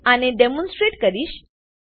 હું આને ડેમોનસ્ટ્રેટ કરીશ